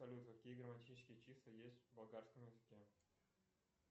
салют какие грамматические числа есть в болгарском языке